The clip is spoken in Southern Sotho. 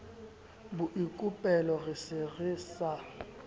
boikopelo re se re sa